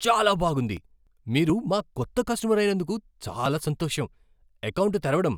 చాలా బాగుంది! మీరు మా కొత్త కస్టమర్ అయినందుకు చాలా సంతోషం. ఎకౌంటు తెరవడం